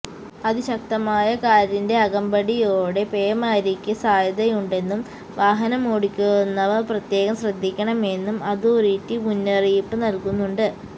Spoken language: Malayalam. അതിശക്തമായ കാറ്റിന്റെ അകമ്പടിയോടെ പേമാരിക്ക് സാധ്യതയുണ്ടെന്നും വാഹനമോടിക്കുന്നവര് പ്രത്യേകം ശ്രദ്ധിക്കണമെന്നും അതോറിറ്റി മുന്നറിയിപ്പ് നല്കുന്നുണ്ട്